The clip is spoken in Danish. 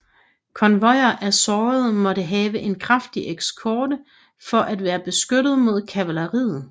Konvojer af sårede måtte have en kraftig eskort for at være beskyttet mod kavaleriet